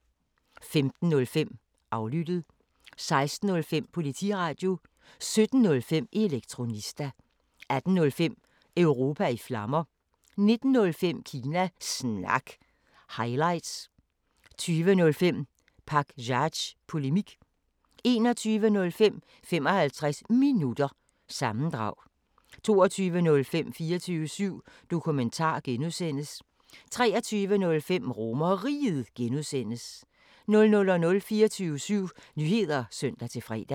15:05: Aflyttet 16:05: Politiradio 17:05: Elektronista 18:05: Europa i Flammer 19:05: Kina Snak – highlights 20:05: Pakzads Polemik 21:05: 55 Minutter – sammendrag 22:05: 24syv Dokumentar (G) 23:05: RomerRiget (G) 00:00: 24syv Nyheder (søn-fre)